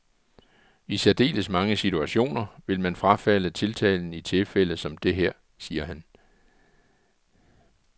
I særdeles mange situationer vil man frafalde tiltalen i tilfælde som det her, siger han.